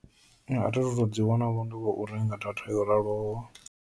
Thithu to ḓiwana vho ndi khou renga data yo raloho.